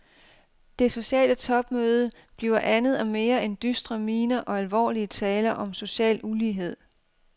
Det sociale topmøde bliver andet og mere end dystre miner og alvorlige taler om social ulighed.